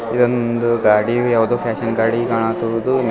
ಇದೊಂದು ಗಾಡಿ ಯಾವ್ದೋ ಫ್ಯಾಷನ್ ಗಾಡಿ ಕಾಣತ್ತದದು.